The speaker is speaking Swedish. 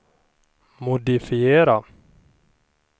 modifiera